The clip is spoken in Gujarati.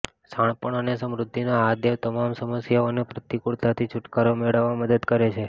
શાણપણ અને સમૃદ્ધિનો આ દેવ તમામ સમસ્યાઓ અને પ્રતિકૂળતાથી છુટકારો મેળવવામાં મદદ કરે છે